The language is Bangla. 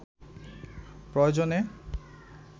প্রয়োজনে